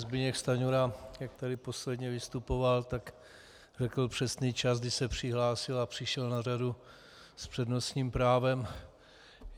Zbyněk Stanjura, jak tady posledně vystupoval, tak řekl přesný čas, kdy se přihlásil a přišel na řadu s přednostním právem.